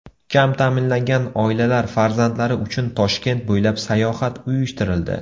Kam ta’minlangan oilalar farzandlari uchun Toshkent bo‘ylab sayohat uyushtirildi.